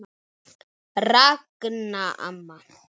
Ragna amma.